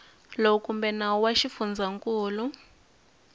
lowu kumbe nawu wa xifundzankulu